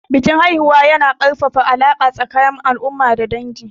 Bikin haihuwa yana ƙarfafa alaƙa tsakanin al'umma da dangi.